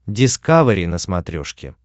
дискавери на смотрешке